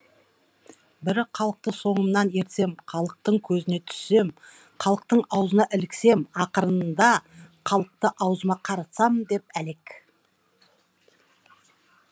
бірі халықты соңымнан ертсем халықтың көзіне түссем халықтың аузына іліксем ақырында халықты аузыма қаратсам деп әлек